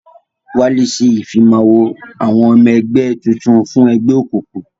Wálé ṣe Ìfimáwo àwọn ọmọ ẹgbẹ́ tuntun fún ẹgbẹ́ ẹgbẹ́ òkùnkùn